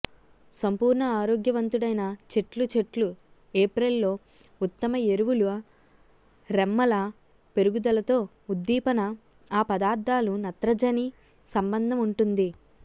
సంపూర్ణ ఆరోగ్యవంతుడైన చెట్లు చెట్లు ఏప్రిల్ లో ఉత్తమ ఎరువులు రెమ్మల పెరుగుదలతో ఉద్దీపన ఆ పదార్థాలు నత్రజనిసంబంధ ఉంటుంది